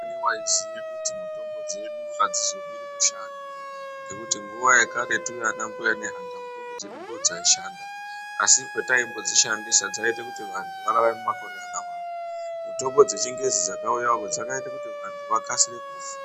Ndiyani vaiziye kuti mitombo dzedu hadzizomiri kushanda. Ngekuti nguva yakaretu vana mbuya nehanda mitombo dzedu ndodzaishanda. Asi pataimbodzishandisa dzaiite kuti vantu vararame makore akawanda. Mitombo dzechingezi dzakauya dzakaite kuti vantu vakasire kufa.